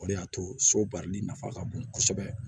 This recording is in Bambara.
O de y'a to so baarali nafa ka bon kosɛbɛ